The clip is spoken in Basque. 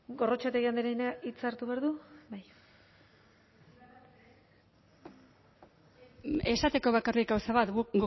gorrotxategi andreak hitza hartu behar du esateko bakarrik gauza bat guk